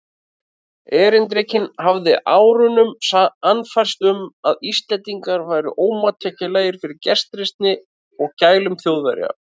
Erindrekinn hafði með árunum sannfærst um, að Íslendingar væru ómóttækilegir fyrir gestrisni og gælum Þjóðverja.